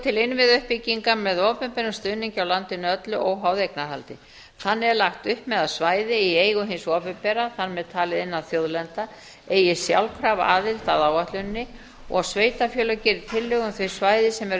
til innviðauppbyggingar með opinberum stuðningi á landinu öllu óháð eignarhaldi þannig er lagt upp með að svæði í eigu hins opinbera þar með talið innan þjóðlendna eigi sjálfkrafa aðild að áætluninni og sveitarfélög geri tillögu um þau